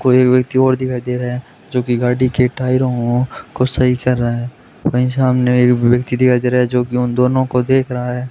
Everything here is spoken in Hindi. कोई व्यक्ति और दिखाई दे रहा है जो की गाड़ी के टायरों को सही कर रहा है वही सामने एक व्यक्ति दिखाई दे रहा है जो कि उन दोनों को देख रहा है।